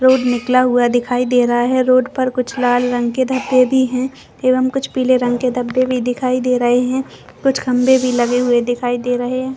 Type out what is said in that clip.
Road निकला हुआ दिखाई दे रहा है रोड पर कुछ लाल रंग के धब्बे भी है एवं कुछ पिले रंग के धब्बे भी दिखाई दे रहे है कुछ खम्भे भी लगे दिखाई दे रहे हैं।